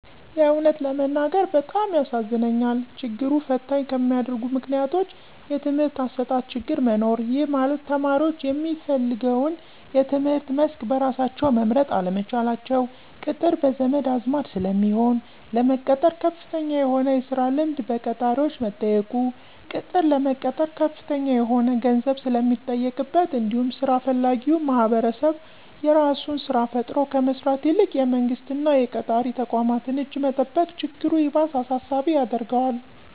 የእውነት ለመናገር በጣም ያሳዝነኛል። ችግሩን ፈተኝ ከሚያደርጉት ምክንያቶች:- የትምህርት አሰጣጥ ችግር መኖር:- ይህ ማለት ተማሪዎች የሚፈልገውን የትምህርት መስክ በራሳቸው መምረጥ አለመቻላቸው፤ ቅጥር በዘመድ አዝማድ ስለሚሆን፤ ለመቀጠር ከፍተኛ የሆነ የስራ ልምድ በቀጣሪዎች መጠየቁ፤ ቅጥር ለመቀጠር ከፍተኛ የሆነ ገንዘብ ስለሚጠየቅበት እንዲሁም ስራ ፈላጊዉ ማህበረሰብ የራሱን ስራ ፈጥሮ ከመስራት ይልቅ የመንግስት እና የቀጣሪ ተቋማትን እጅ መጠበቅ ችግሩ ይባስ አሳሳቢ ያደርገዋል።